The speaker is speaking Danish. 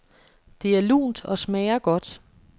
Det er lunt og smager godt.